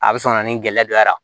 A bɛ sɔn ka na ni gɛlɛya dɔ yera